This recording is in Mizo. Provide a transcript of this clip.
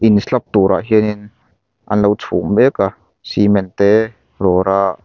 in slab turah hianin an lo chhung mek a cement te rawra--